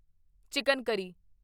chicken ਕਰੀ